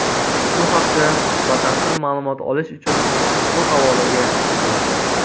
Shu haqda batafsil ma’lumot olish uchun ushbu havolaga o‘ting.